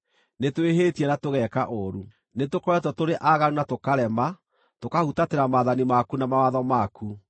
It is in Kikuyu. nĩtwĩhĩtie na tũgeka ũũru. Nĩtũkoretwo tũrĩ aaganu na tũkarema, tũkahutatĩra maathani maku na mawatho maku.